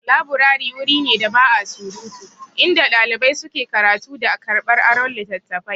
Laburari wuri ne da ba'a surutu, inda ɗalibai suke karatu da karɓar aron littattafai.